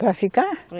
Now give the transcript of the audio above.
Para ficar? É